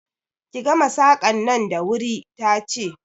Ki gama Saƙan nan da wuri ta ce!